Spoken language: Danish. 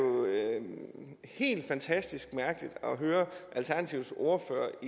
helt fantastisk mærkeligt at høre alternativets ordfører